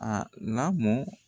A lamɔn